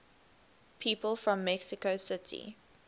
people from mexico city